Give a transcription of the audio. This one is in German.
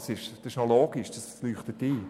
Das ist logisch und leuchtet ein.